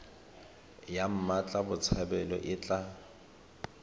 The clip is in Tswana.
ya mmatla botshabelo e tla